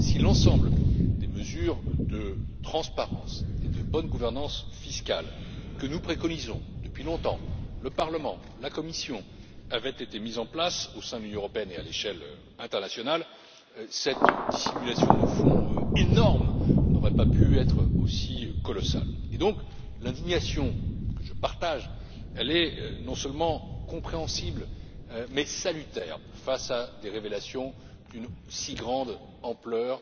Si l'ensemble des mesures de transparence et de bonne gouvernance fiscale que nous préconisons depuis longtemps le Parlement et la Commission avaient été mises en place au sein de l'Union européenne et à l'échelle internationale, cette énorme dissimulation de fonds n'aurait pas pu être aussi colossale. Par conséquent, l'indignation, que je partage, est non seulement compréhensible, mais aussi salutaire, face à des révélations d'une si grande ampleur